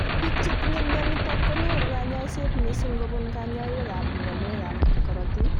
Biik chetinye mionitok konyoru kanyoiset mising kobun kanyoikab mionwekab korotik